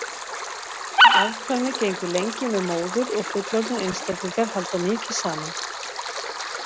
Afkvæmið gengur lengi með móður og fullorðnir einstaklingar halda mikið saman.